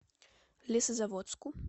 лесозаводску